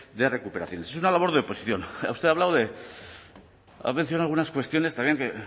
de recuperación es una labor de oposición usted ha hablado de ha mencionado algunas cuestiones también que en